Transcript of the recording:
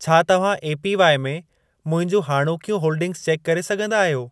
छा तव्हां एपीवाई में मुंहिंजूं हाणोकियूं होल्डिंगस चेक करे सघंदा आहियो?